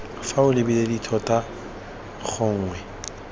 fa o lebile dithota gongwe